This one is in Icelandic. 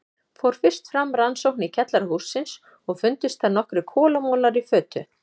Fór fyrst fram rannsókn í kjallara hússins og fundust þar nokkrir kolamolar í fötu.